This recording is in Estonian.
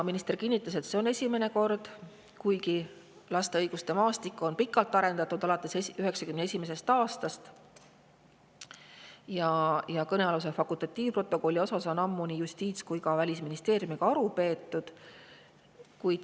Minister kinnitas, et see on esimene kord, kuigi laste õiguste maastikku on pikalt arendatud – alates 1991. aastast – ja kõnealuse fakultatiivprotokolli asjus on juba ammu nii Justiitsministeeriumi kui ka Välisministeeriumiga aru peetud.